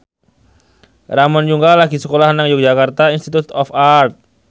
Ramon Yungka lagi sekolah nang Yogyakarta Institute of Art